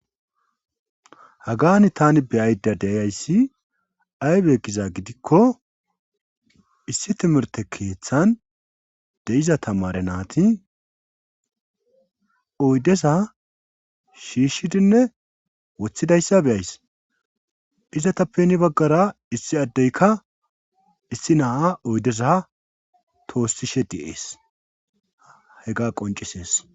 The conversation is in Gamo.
Hagani tani beyayda deyayssi aybe giza gidikko issi timirte keeththan de7iza tamare naati oydesa shiishshidinne woththidayssa beyays izatappeni baggara issi addeyka issi naaa oydesa toossishe di7ees he ga qoncisees